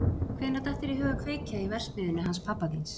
Hvenær datt þér í hug að kveikja í verksmiðjunni hans pabba þíns?